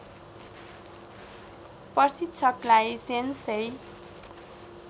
प्रशिक्षकलाई sensei